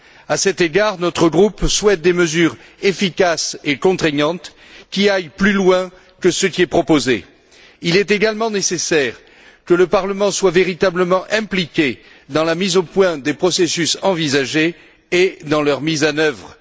À cet égard, notre groupe souhaite des mesures efficaces et contraignantes qui aillent plus loin que ce qui est proposé. Il est également nécessaire que le Parlement soit véritablement impliqué dans la mise au point des processus envisagés et dans leur mise en œuvre.